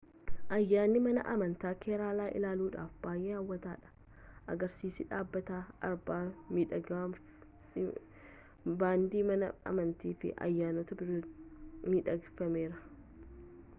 ayyaanni mana amantaa keeraalaa ilaaluudhaaf baay'ee hawwataadha agarsiisa dhaabbataa arba miidhagfamee baandii mana amantaa fi ayyaanota biroottin midhagfamerea